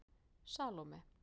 Salóme